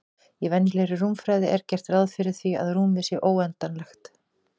Í venjulegri rúmfræði er gert ráð fyrir því að rúmið sé óendanlegt.